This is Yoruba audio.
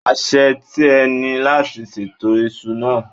Àṣe tìẹ ni láti ṣètò isu náà.